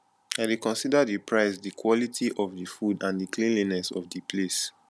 i dey consider di price di quality of di food and di cleanliness of di place